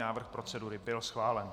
Návrh procedury byl schválen.